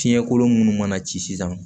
Fiɲɛkolon minnu mana ci sisan